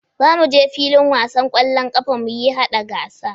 Za mu je filin wasa kwallon ƙafa muyi haɗa gasa